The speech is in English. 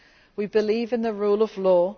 We believe in the rule of law.